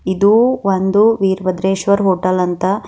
ಇದು ಒಂದು ವೀರಭದ್ರೇಶ್ವರ್ ಹೋಟೆಲ್ ಅಂತ.